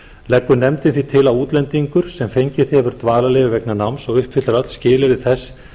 leggur nefndin því til að útlendingur sem fengið hefur dvalarleyfi vegna náms og uppfyllt öll skilyrði þess